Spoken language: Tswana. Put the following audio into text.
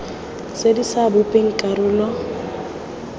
tse di sa bopeng karolo